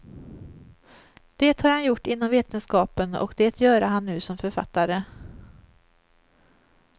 Det har han gjort inom vetenskapen och det göra han nu som författare.